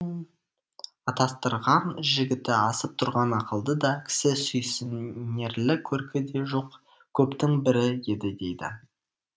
атастырған жігіті асып тұрған ақылды да кісі сүйсінерлік көркі де жоқ көптің бірі еді дейді